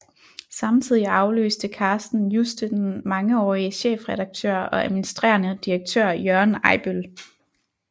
Samtidig afløste Carsten Juste den mangeårige chefredaktør og administrerende direktør Jørgen Ejbøl